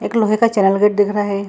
एक लोहे का चैनल गेट दिख रहा है।